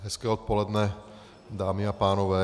Hezké odpoledne dámy a pánové.